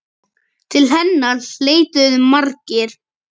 Til hennar leituðu margir.